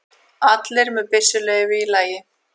Allir með byssuleyfi í lagi